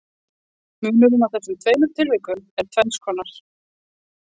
Munurinn á þessum tveimur tilvikum er tvenns konar.